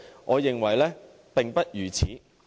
我認為並非如此。